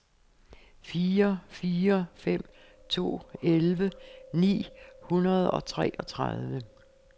fire fire fem to elleve ni hundrede og treogtredive